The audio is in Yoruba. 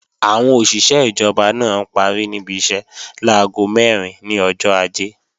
Àwọn òṣìṣé ìjọba náà parí níbi iṣẹ́ láago mẹ́rin ní ọjọ́ Ajé